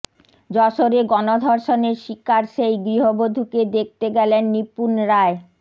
যশোরে গণধর্ষণের শিকার সেই গৃহবধূকে দেখতে গেলেন নিপুন রায়